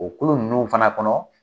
O kulu ninnu fana kɔnɔ